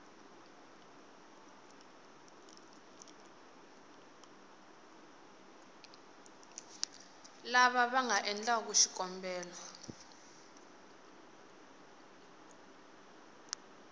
lava va nga endlaku xikombelo